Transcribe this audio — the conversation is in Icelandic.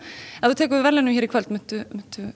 ef þú tekur við verðlaunum hér í kvöld muntu